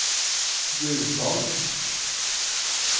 Gausdal